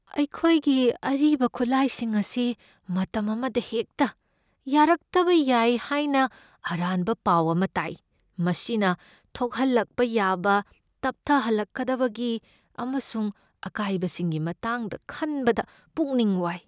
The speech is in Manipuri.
ꯑꯩꯈꯣꯏꯒꯤ ꯑꯔꯤꯕ ꯈꯨꯠꯂꯥꯏꯁꯤꯡ ꯑꯁꯤ ꯃꯇꯝ ꯑꯃꯗ ꯍꯦꯛꯇ ꯌꯥꯔꯛꯇꯕ ꯌꯥꯏ ꯍꯥꯏꯅ ꯑꯔꯥꯟꯕ ꯄꯥꯎ ꯑꯃ ꯇꯥꯏ ꯫ ꯃꯁꯤꯅ ꯊꯣꯛꯍꯜꯂꯛꯄ ꯌꯥꯕ ꯇꯞꯊꯍꯜꯂꯛꯀꯗꯕꯒꯤ ꯑꯃꯁꯨꯡ ꯑꯀꯥꯏꯕꯁꯤꯡꯒꯤ ꯃꯇꯥꯡꯗ ꯈꯟꯕꯗ ꯄꯨꯛꯅꯤꯡ ꯋꯥꯏ ꯫